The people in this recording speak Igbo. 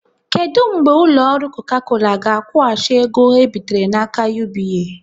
Kedụ mgbe ụlọ ọrụ Coca Cola ga-akwụghachi ego ha bitere n'aka UBA?